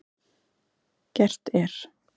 Gert er